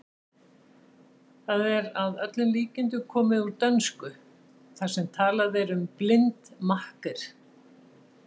Það er að öllum líkindum komið úr dönsku þar sem talað er um blind makker.